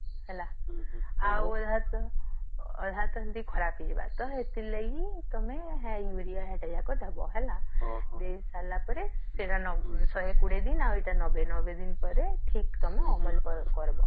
ହେଲା ଅଧ ତନ ବି ଖରାପ ହେଇ ଯିବା ତ ସେଥିର ଲାଗି ତଆମେ ହେ urea ସବୁ ଜକ ଦବ ହେଲା ଦେଇସରିଲା ପରେ ସେଇଟା ଶହେ କୋଡିଏ ଦିନ ଆଉ ଏଇଟା ନବେ ନବେ ଦିନପରେ ଠିକ୍ ତଆମେ ଅମଳ କରବୋ